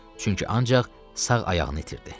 Çünki ancaq sağ ayağını itirdi.